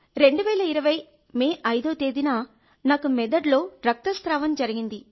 2020 May 5వ తేదీన నాకు మెదడులో రక్తస్రావం జరిగింది